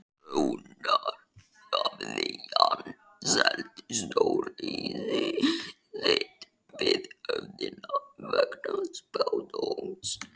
Raunar hafði hann selt stórhýsi sitt við höfnina vegna spádóms.